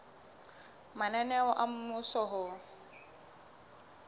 mananeo a mmuso a ho